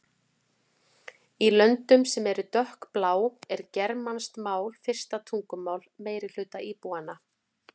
Í löndum sem eru dökkblá er germanskt mál fyrsta tungumál meirihluta íbúanna.